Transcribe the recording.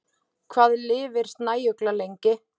Hvað lifir snæugla lengi?